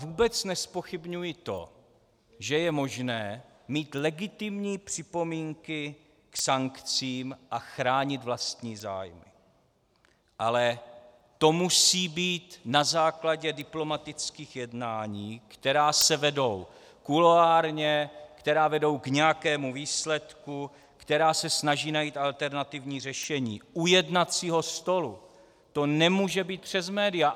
Vůbec nezpochybňuji to, že je možné mít legitimní připomínky k sankcím a chránit vlastní zájmy, ale to musí být na základě diplomatických jednání, která se vedou kuloárně, která vedou k nějakému výsledku, která se snaží najít alternativní řešení u jednacího stolu, to nemůže být přes média.